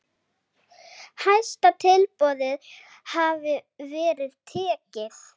Hæsta tilboði hafi verið tekið.